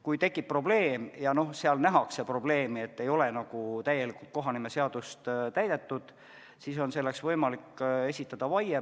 Kui tekib probleem, et kohanimeseadust ei ole täielikult täidetud, siis on võimalik esitada vaie.